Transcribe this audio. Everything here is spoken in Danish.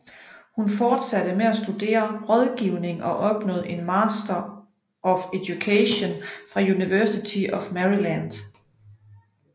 Hun fortsatte med at studere rådgivning og opnåede en Master of Education fra University of Maryland